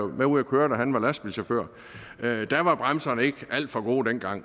med ude at køre da han var lastbilchauffør der var bremserne ikke alt for gode dengang